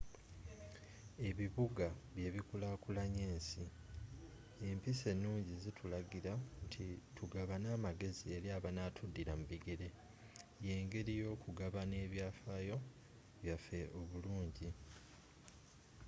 ebibuga byebikulakulanya ensi empisa enungi zitulagira nti tugabane amagezi eri abanatudira mu bigere yengeri yokugabana ebyafayo byaffe oburungi